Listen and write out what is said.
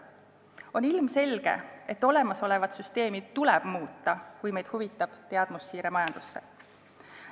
On ilmselge, et olemasolevat süsteemi tuleb muuta, kui meid huvitab teadmussiire majandusse.